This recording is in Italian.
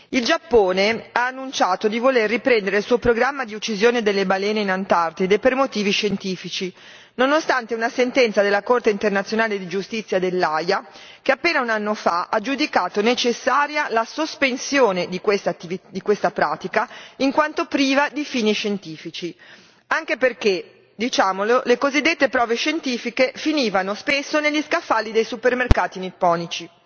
Il Giappone ha annunciato di voler riprendere il suo programma di uccisione delle balene in Antartide per motivi scientifici, nonostante una sentenza della Corte internazionale di giustizia dell'Aia che appena un anno fa ha giudicato necessaria la sospensione di questa pratica in quanto priva di fini scientifici, anche perché diciamolo le cosiddette prove scientifiche finivano spesso negli scaffali dei supermercati nipponici.